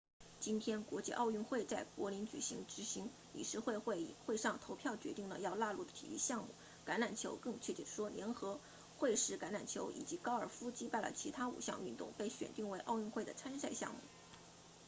今天国际奥委会在柏林举行执行理事会会议会上投票决定了要纳入的体育项目橄榄球更确切地说联合会式橄榄球以及高尔夫击败了其他五项运动被选定为奥运会的参赛项目